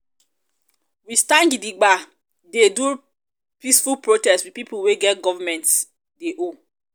we stand gidigba dey do peaceful protest with pipo wey government dey owe.